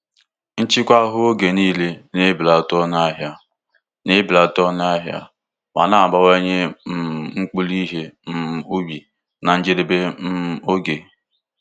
Nchịkwa ahụhụ oge niile na-ebelata ọnụ ahịa na-ebelata ọnụ ahịa ma na-abawanye um mkpụrụ ihe um ubi na njedebe um oge.